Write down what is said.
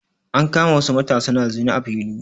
An kama wasu matasa na zina a fili.